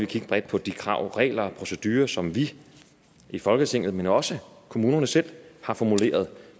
kigge bredt på de krav og regler og procedurer som vi i folketinget men også kommunerne selv har formuleret